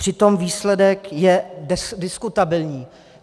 Přitom výsledek je diskutabilní.